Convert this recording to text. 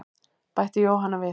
Bætti Jóhanna við.